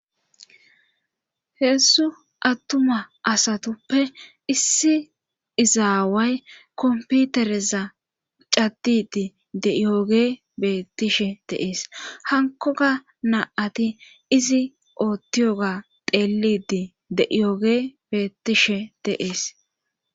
Heedzu attuma asatuppe issi izaaway komputereza caddidi de'iyooge beettishe deees hankoga na'ati izi oottiyoga deelidi de7iyooge bettishe deees